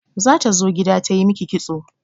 Zata zo gida ta yi miki kitso.